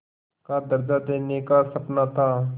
का दर्ज़ा देने का सपना था